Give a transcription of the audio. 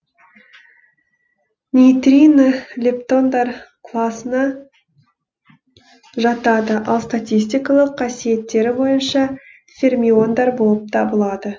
нейтрино лептондар класына жатады ал статистикалық қасиеттері бойынша фермиондар болып табылады